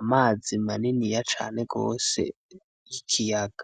Amazi maniniya cane rwose, ikiyaga.